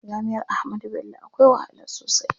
Jami'ar Ahmadu Bello akwai wahala sosai.